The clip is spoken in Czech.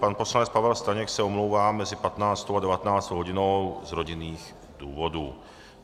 Pan poslanec Pavel Staněk se omlouvá mezi 15. a 19. hodinou z rodinných důvodů.